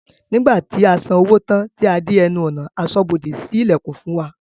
Nígbàtí a san owó tán tí a dé ẹnu ọ̀nà, asọ́bodè sí ìlẹ̀kùn fún wa